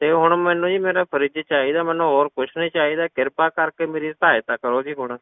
ਤੇ ਹੁਣ ਮੈਨੂੰ ਜੀ ਮੇਰਾ fridge ਚਾਹੀਦਾ ਮੈਨੂੰ ਹੋਰ ਕੁਛ ਨੀ ਚਾਹੀਦਾ, ਕਿਰਪਾ ਕਰਕੇ ਮੇਰੀ ਸਹਾਇਤਾ ਕਰੋ ਜੀ ਹੁਣ,